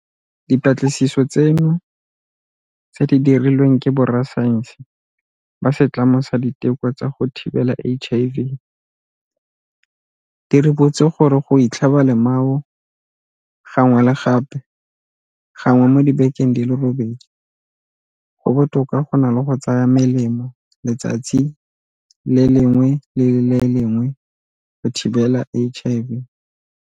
Dipatlisiso tseno, tse di dirilweng ke borasaense ba Setlamo sa Diteko tsa go Thibela HIV, di ribotse gore go itlhaba lemao gangwe le gape gangwe mo dibekeng di le robedi go botoka go na le go tsaya melemo letsatsi le lengwe le le lengwe go thibela HIV.